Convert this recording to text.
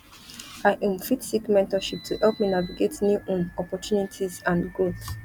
i um fit seek mentorship to help me navigate new um opportunities and growth